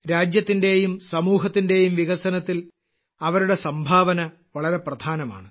രാജ്യത്തിന്റെയും സമൂഹത്തിന്റെയും വികസനത്തിൽ അവരുടെ സംഭാവന വളരെ പ്രധാനമാണ്